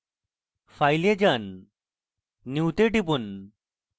file এ যান new go টিপুন